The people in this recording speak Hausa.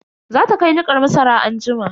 Za ta kai nikar masara anjima.